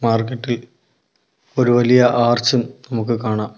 Market ഇൽ ഒരു വലിയ ആർച്ചും നമുക്ക് കാണാം.